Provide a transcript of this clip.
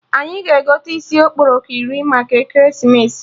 Anyị ga-egote isi okporoko iri maka ekeresimesi